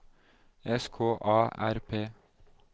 S K A R P